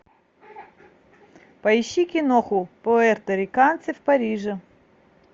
поищи киноху пуэрториканцы в париже